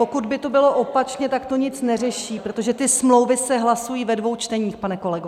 Pokud by to bylo opačně, tak to nic neřeší, protože ty smlouvy se hlasují ve dvou čteních, pane kolego.